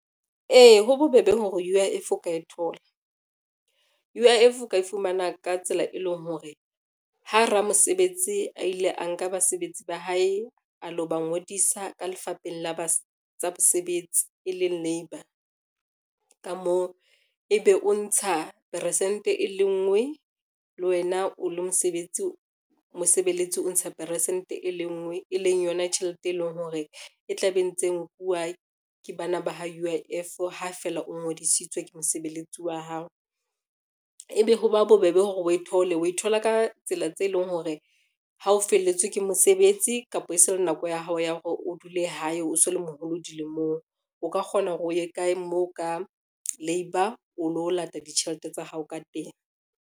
Ee, ho bobebe hore U_I_F o ka e thola. U_I_F o ka e fumana ka tsela e leng hore ha ramosebetsi a ile a nka basebetsi ba hae, a lo ba ngodisa ka lefapheng la tsa bosebetsi, e leng labour ka mo. Ebe o ntsha peresente e le ngwe le wena o le mosebeletsi, o ntsha peresente e le ngwe, e leng yona tjhelete e leng hore e tla be ntse nkuwa ke bana ba ho U_I_F ha feela o ngodisitswe ke mosebeletsi wa hao. Ebe ho ba bobebe hore o e thole, wa e thola ka tsela tse leng hore ha o felletswe ke mosebetsi kapa e se le nako ya hao ya hore o dule hae, o so le moholo dilemong, o ka kgona hore o ye kae moo ka labour o lo lata ditjhelete tsa hao ka teng.